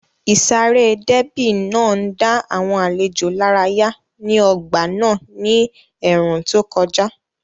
Ìsáré déébì náà ń dá àwọn àlejò lárayá ní ọgbà náà ní ẹ̀ẹ̀rùn tó kọjá